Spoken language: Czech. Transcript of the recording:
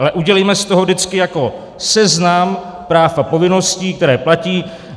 Ale udělejme z toho vždycky jako seznam práv a povinností, které platí.